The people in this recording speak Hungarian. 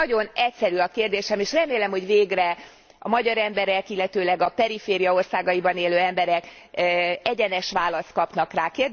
Nagyon egyszerű a kérdésem, és remélem, hogy végre a magyar emberek, illetőleg a periféria országaiban élő emberek egyenes választ kapnak rá.